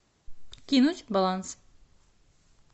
кинуть баланс